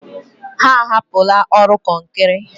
Ha ahapụla ọrụ kọnkrị.